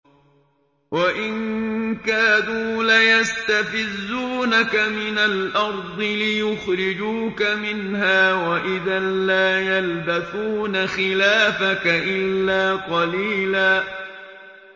وَإِن كَادُوا لَيَسْتَفِزُّونَكَ مِنَ الْأَرْضِ لِيُخْرِجُوكَ مِنْهَا ۖ وَإِذًا لَّا يَلْبَثُونَ خِلَافَكَ إِلَّا قَلِيلًا